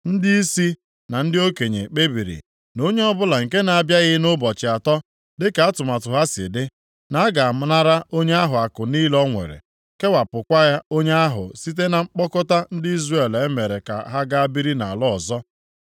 Ndịisi na ndị okenye kpebiri na onye ọbụla nke na-abịaghị nʼụbọchị atọ, dịka atụmatụ ha si dị, na a ga-anara onye ahụ akụ niile o nwere, kewapụkwa onye ahụ site na mkpọkọta ndị Izrel e mere ka ha gaa biri nʼala ọzọ.